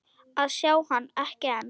að sjá hann, ekki enn.